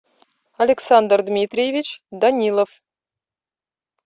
александр дмитриевич данилов